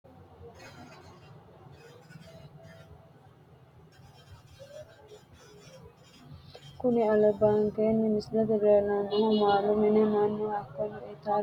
Kuni albankeeni misilete leelanonkehu maalu mini manu hakkono itarano ikko minira adhe hare mine gafire itate yee hidhe harate horonsinani mineeti.